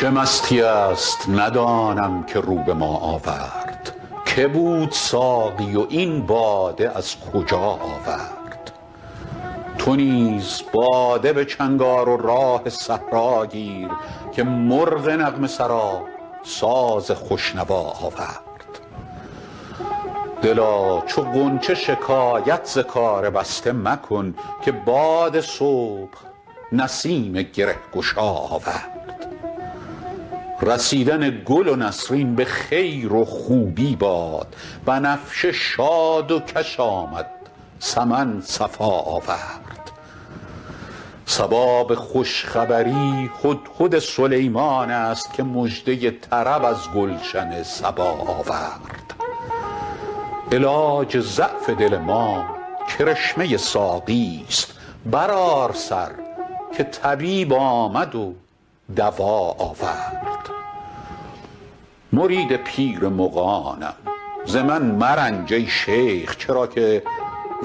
چه مستیی است ندانم که رو به ما آورد که بود ساقی و این باده از کجا آورد چه راه می زند این مطرب مقام شناس که در میان غزل قول آشنا آورد تو نیز باده به چنگ آر و راه صحرا گیر که مرغ نغمه سرا ساز خوش نوا آورد دلا چو غنچه شکایت ز کار بسته مکن که باد صبح نسیم گره گشا آورد رسیدن گل نسرین به خیر و خوبی باد بنفشه شاد و کش آمد سمن صفا آورد صبا به خوش خبری هدهد سلیمان است که مژده طرب از گلشن سبا آورد علاج ضعف دل ما کرشمه ساقیست برآر سر که طبیب آمد و دوا آورد مرید پیر مغانم ز من مرنج ای شیخ چرا که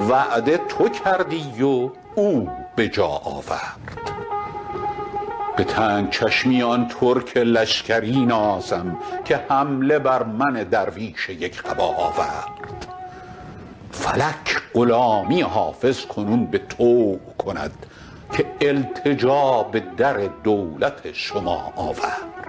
وعده تو کردی و او به جا آورد به تنگ چشمی آن ترک لشکری نازم که حمله بر من درویش یک قبا آورد فلک غلامی حافظ کنون به طوع کند که التجا به در دولت شما آورد